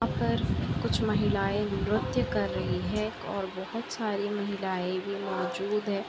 यहाँ पर कुछ महिलाये नृत्य कर रही है और बहोत सारी महिलाये भी मौजूद है।